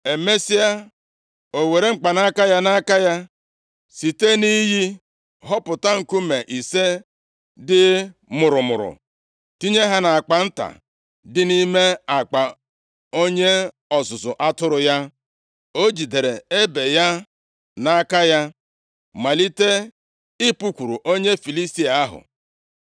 Emesịa, o were mkpanaka ya nʼaka ya, site nʼiyi họpụta nkume ise dị mụrụmụrụ tinye ha nʼakpa nta dị nʼime akpa onye ọzụzụ atụrụ ya. O jidere ebe ya nʼaka ya, malite ịpụkwuru onye Filistia ahụ.